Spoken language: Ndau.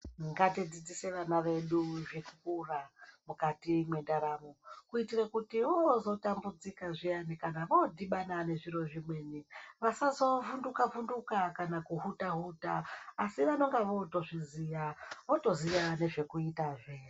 Ngatidzidzise vana vedu zvikora mukati mwendaramo kuitire kuti voozotambudzika zviyani kana voodhibana nezviro zvimweni vasazovhunduka vhunduka kana kuhuta huta asi vononga vootozviziya vootoziya nezvekuitazve.